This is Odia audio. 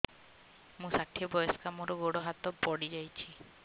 ମୁଁ ଷାଠିଏ ବୟସ୍କା ମୋର ଗୋଡ ହାତ ପଡିଯାଇଛି